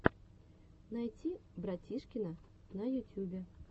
найти братишкина на ютюбе